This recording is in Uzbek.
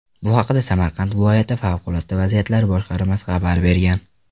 Bu haqda Samarqand viloyati favqulodda vaziyatlar boshqarmasi xabar bergan .